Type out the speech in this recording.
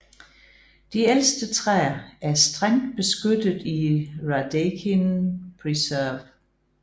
De ældste træer er strengt beskyttet i Radecin Preserve